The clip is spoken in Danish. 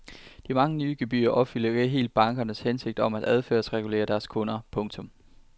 De mange nye gebyrer opfylder ikke helt bankernes hensigt om at adfærdsregulere deres kunder. punktum